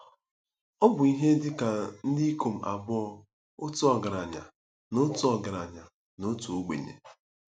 Ọ bụ ihe dị ka ndị ikom abụọ, otu ọgaranya na otu ọgaranya na otu ogbenye.